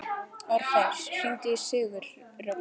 Orfeus, hringdu í Sigurrögnu.